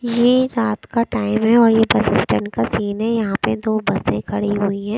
ये रात का टाइम है और ये बस स्टैंड का सीन है यहां पे दो बसें खड़ी हुई हैं।